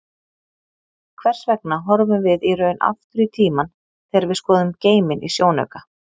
Hvers vegna horfum við í raun aftur í tímann þegar við skoðum geiminn í sjónauka?